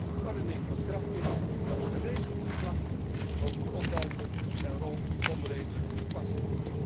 Sinds de verordening van kracht is, regent het klachten over de onduidelijke en onredelijke toepassing.